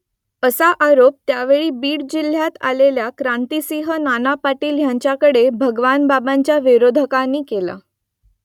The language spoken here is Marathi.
असा आरोप त्यावेळी बीड जिल्ह्यात आलेल्या क्रांतीसिंह नाना पाटील यांच्याकडे भगवानबाबांच्या विरोधकांनी केला